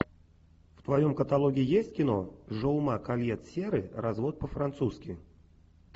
в твоем каталоге есть кино жаума кольет серры развод по французски